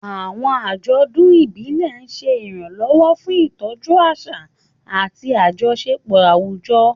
Àwọn àjọ̀dún ìbílẹ̀ ń ṣe ìrànlọ́wọ́ fún ìtọ́jú àṣà àti àjọṣepọ̀ àwùjọ.